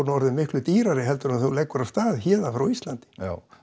orðin miklu dýrari en þegar hún leggur af stað héðan frá Íslandi já